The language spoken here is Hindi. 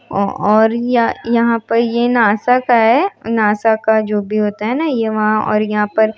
ओ-और ये-यहाँ पर यह नासा का है नासा का जो भी होता है ना ये वहां और यहाँ पर--